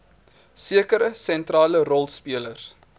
sekere sentrale rolspelers